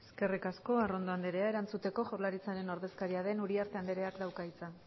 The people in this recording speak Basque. eskerrik asko arrondo anderea erantzuteko jaurlaritzaren ordezkaria den uriarte andereak dauka hitza